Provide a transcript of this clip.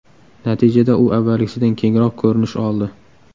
Natijada u avvalgisidan kengroq ko‘rinish oldi.